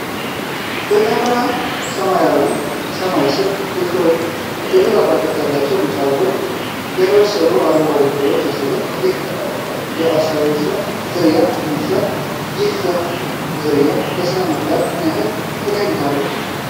በጠራ ሰማያዊ ሰማይ ስር፣ የሾጣጣ ቅርጽ ያላቸውን ቢጫ አበቦች እና ያልበሰሉ አረንጓዴ ፍሬዎችን ያሳያል። ይህ የአካሲያ ዝርያ ተክል ይመስላል? ይህ የዛፍ ዝርያ ለሥነ-ምህዳሩ ምን ያህል ጠቀሜታ አለው?